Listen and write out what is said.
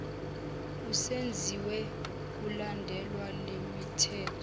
esenziwe kulandelwa lemithetho